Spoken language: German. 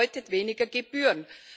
Das bedeutet weniger Gebühren.